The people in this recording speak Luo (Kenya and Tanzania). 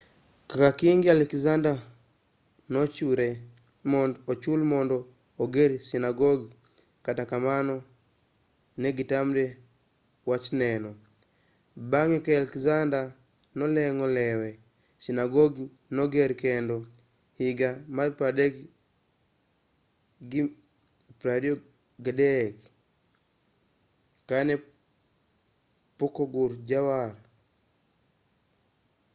kaka kingi alexander nochiwre mondo ochul mondo oger sinagogi kata kamano negitamre wachneno bang'e ka alexander noleng'o lewe sinagogi noger kendo higa 323 kanepokogur jawar